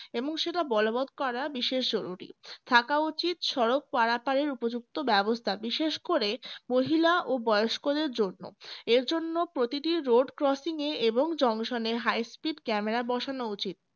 এবং সেটা বলবত করা বিশেষ জরুরি থাকা উচিত সড়ক পারাপারের উপযুক্ত ব্যবস্থা বিশেষ করে মহিলা ও বয়স্কদের জন্য এর জন্য প্রতিটি road crossing এ এবং junction এ high speed camera বসানো উচিত